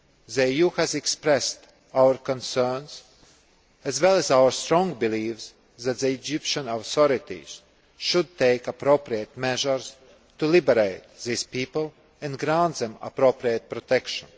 The EU has expressed our concerns, as well as our strong belief, that the Egyptian authorities should take appropriate measures to liberate these people and grant them appropriate protection.